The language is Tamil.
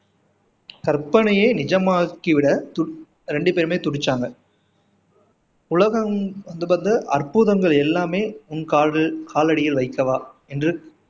கற்பனையை நிஜமாக்கி விட ரெண்டு பேருமே துடிச்சாங்க உலகம் அற்புதங்கள் எல்லாமே உன் காது காலடியில் வைக்கவா என்று